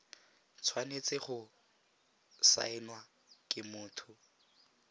tshwanetse go saenwa ke motho